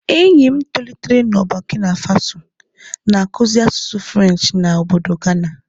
Enyi m tolitere na Bokina Faso, na-akụzi asụsụ Frenchị na ọbọdọ Gana.